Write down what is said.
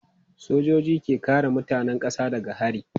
Sojoji ke kare mutanen kasa daga hari.